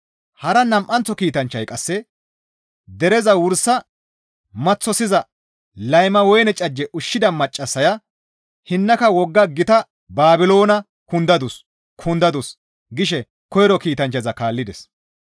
Hara nam7anththo kiitanchchay qasse, «Dereza wursa maththosiza layma woyne cajje ushshida maccassaya hinnaka wogga gita Baabiloona kundadus! Kundadus!» gishe koyro kiitanchchaza kaallides.